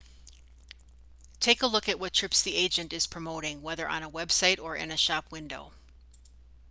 take a look at what trips the agent is promoting whether on a website or in a shop window